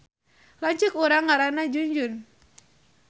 Lanceuk urang ngaranna Junjun